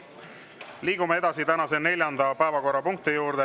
Liigume edasi tänase neljanda päevakorrapunkti juurde.